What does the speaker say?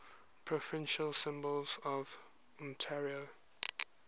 provincial symbols of ontario